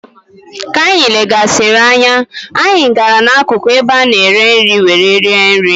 Ka anyị legharịsịrị anya, anyị gara n'akụkụ ebe a na-ere nri were rie nri.